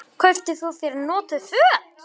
Kaupi þú þér notuð föt?